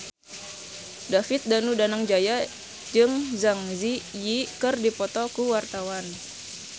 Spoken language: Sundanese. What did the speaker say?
David Danu Danangjaya jeung Zang Zi Yi keur dipoto ku wartawan